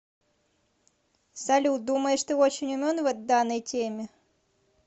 салют думаешь ты очень умен в данной теме